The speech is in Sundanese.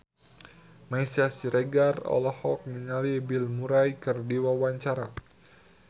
Meisya Siregar olohok ningali Bill Murray keur diwawancara